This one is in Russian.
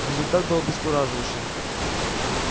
результат был обескураживающим